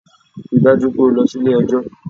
Ri dájú pé o lọ sí Ilé ẹjọ́